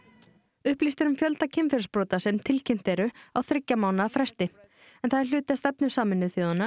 upplýst er um fjölda kynferðisbrota sem tilkynnt eru á þriggja mánaða fresti en það er hluti af stefnu Sameinuðu þjóðanna